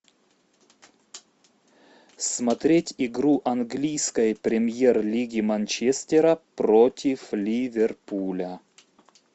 смотреть игру английской премьер лиги манчестера против ливерпуля